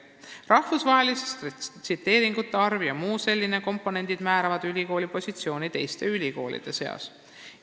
Rahvusvaheliste tsiteeringute arv ja muud sellised komponendid määravad ülikooli positsiooni teiste ülikoolide seas.